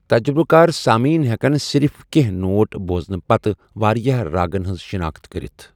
تجرُبہٕ کار سامعین ہٮ۪کَن صرف کینٛہہ نوٹ بۄزنہٕ پتہٕ واریٛاہ راگَن ہٕنٛز شناخت کٔرِتھ۔